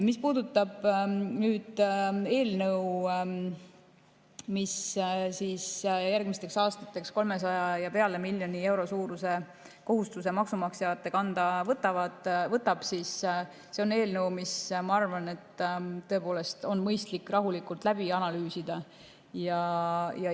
Mis puudutab eelnõu, mis järgmisteks aastateks üle 300 miljoni euro suuruse kohustuse maksumaksjate kanda paneb, siis see on eelnõu, mis, ma arvan, on mõistlik rahulikult läbi analüüsida.